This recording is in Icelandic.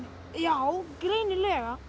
já greinilega